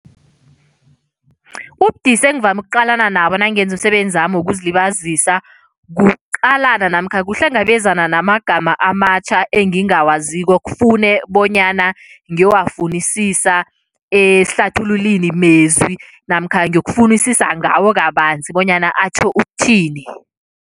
Ubudisi engivame ukuqalana nabo nangenza umsebenzami wokuzilibazisa, kuqalana namkha kuhlangabezana namagama amatjha engingawazi kufune bonyana ngiyowafunisisa esihlathululinimezwi namkha ngiyokufunisisa ngawo kabanzi bonyana atjho ukuthini.